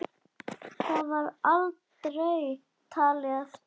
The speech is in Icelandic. Það var aldrei talið eftir.